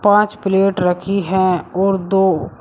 पांच प्लेट रखी है और दो--